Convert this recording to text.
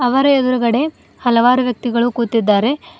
ಅವರ ಎದ್ರುಗಡೆ ಹಲವಾರು ವ್ಯಕ್ತಿಗಳು ಕೂತಿದ್ದಾರೆ.